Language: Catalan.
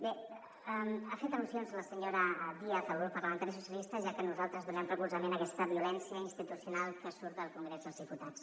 bé ha fet al·lusions la senyora díaz al grup parlamentari socialistes ja que nosaltres donem recolzament a aquesta violència institucional que surt del congrés dels diputats